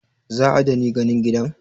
Zaa dani ganin gidan?